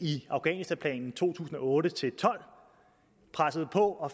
i afghanistanplanen for to tusind og otte til tolv pressede på og